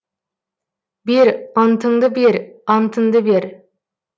бер антыңды бер антыңды бер